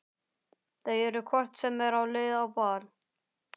Þau eru hvort sem er á leið á ball.